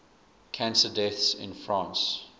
cancer deaths in france